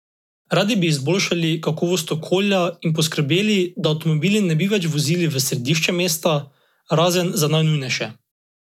Radi bi izboljšali kakovost okolja in poskrbeli, da avtomobili ne bi več vozili v središče mesta razen za najnujnejše.